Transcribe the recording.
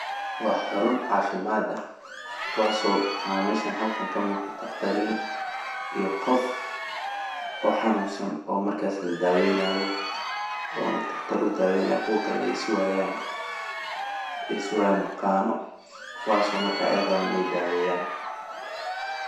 Waxa xarun cafimad ah kuwaso meshan halkan ka muqdan oo la dakhtarin iyo qof oo markasi oo xanunsan oo la daweynayo ,ona dakhtar u dawey nayo kuwa kalena ay sugayan baqano kuwaso markas ay raban iney daweyan.